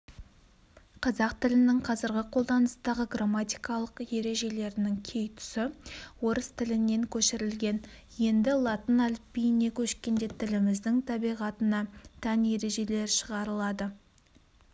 қазақ тілінің қазіргі қолданыстағы грамматикалық ережелерінің кей тұсы орыс тілінен көшірілген енді латын әліпбиіне көшкенде тіліміздің табиғатына тән ержелер шығарылады